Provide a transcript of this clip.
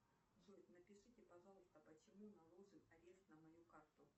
джой напишите пожалуйста почему наложен арест на мою карту